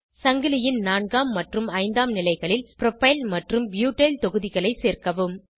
சங்கிலியின் நான்காம் மற்றும் ஐந்தாம் நிலைகளில் ப்ரோப்பைல் மற்றும் ப்யூட்டைல் தொகுதிகளை சேர்க்கவும்